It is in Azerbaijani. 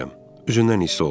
Üzündən hiss olunur.